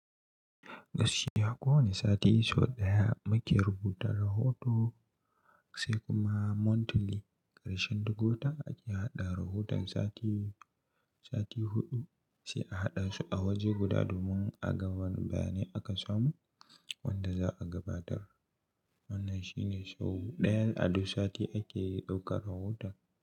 Gaskiya ko wani sati sau ɗaya muke rubuta rahoto, sai kuma monthly ƙarshen duk wata ake haɗa rahoton sati, sati huɗu sai a haɗa su a waje guda domin a ga wane bayanai aka samu wanda za a gabatar. Wannan shine sau ɗayan a duk sati ake ɗaukar rahoton.